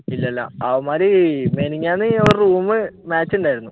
ഇല്ലല്ലാ അവന്മാർ മിനിന്നാന്ന് room match ഉണ്ടായിരുന്നു